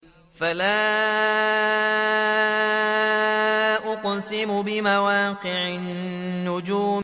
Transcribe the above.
۞ فَلَا أُقْسِمُ بِمَوَاقِعِ النُّجُومِ